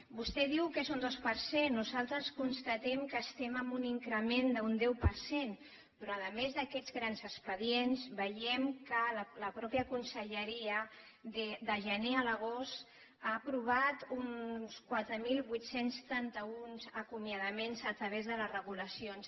vostè diu que és un dos per cent nosaltres constatem que estem en un increment d’un deu per cent però a més d’aquests grans expedients veiem que la mateixa conselleria de gener a l’agost ha aprovat uns quatre mil vuit cents i trenta un acomiadaments a través de les regulacions